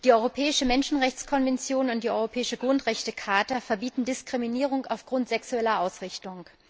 Die europäische Menschenrechtskonvention und die europäische Grundrechtecharta verbieten Diskriminierung aufgrund sexueller Ausrichtung.